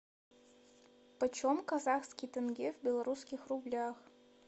почем казахский тенге в белорусских рублях